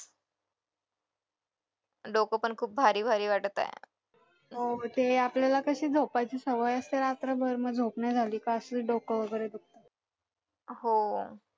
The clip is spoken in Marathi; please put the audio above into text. डोकं पण खूप भारी भारी वाटत आहे हो